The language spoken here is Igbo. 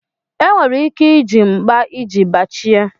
Enwere ike iji mkpa iji bachie.